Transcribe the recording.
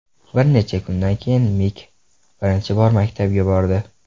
Bir necha kundan keyin Mik birinchi bor maktabga bordi.